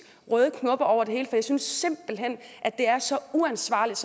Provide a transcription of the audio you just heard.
røde knopper over det hele jeg synes simpelt hen det er så uansvarligt